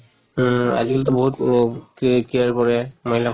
উম আজি কালি টো বহুত এহ কে care কৰে মহিলা